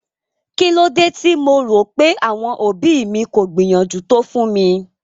Kílódé tí mo rò pé àwọn òbí mi kò gbìyànjú tó fún mi?